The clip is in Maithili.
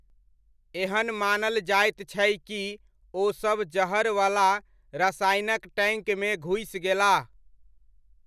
एहन मानल जाइत छै कि ओसब जहरवला रसायनक टैङ्कमे घुसि गेलाह।